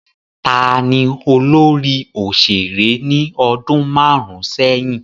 Taani olórí òṣèré ní ọdún márún sẹ́yìn?